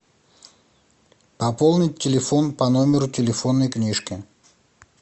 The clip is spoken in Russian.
пополнить телефон по номеру телефонной книжки